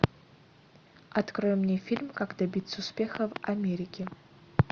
открой мне фильм как добиться успеха в америке